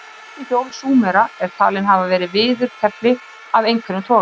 fyrstu hjól súmera eru talin hafa verið viðarkefli af einhverjum toga